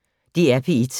DR P1